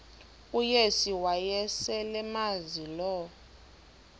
uyesu wayeselemazi lo